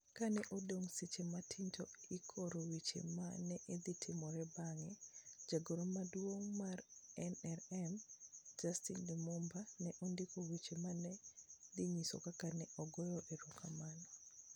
Kane odong ' seche matin to ikoro weche ma ne dhi timore bang'e, jagoro maduong ' mar NRM, Justine Lumumba, ne ondiko weche ma ne dhi nyiso kaka ne ogoyo erokamano: